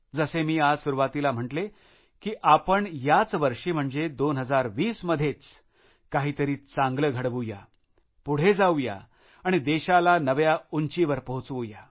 जसे मी आज सुरुवातीला म्हणालो की आपण याच वर्षी म्हणजे 2020 मध्येच काहीतरी चांगले घडवूया पुढे जाऊया आणि देशाला नव्या उंचीवर पोहचवू या